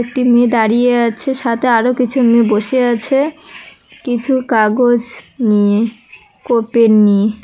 একটি মেয়ে দাঁড়িয়ে আছে সাথে আরও কিছু মেয়ে বসে আছে কিছু কাগজ নিয়ে ও পেন নিয়ে।